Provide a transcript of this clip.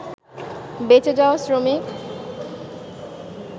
বেঁচে যাওয়া শ্রমিক